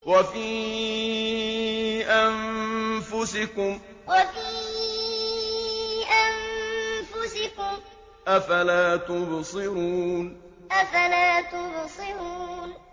وَفِي أَنفُسِكُمْ ۚ أَفَلَا تُبْصِرُونَ وَفِي أَنفُسِكُمْ ۚ أَفَلَا تُبْصِرُونَ